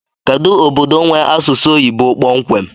Kedu obodo nwee asụsụ oyibo kpọmkwem?